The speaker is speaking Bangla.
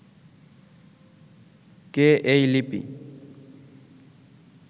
কে এই লিপি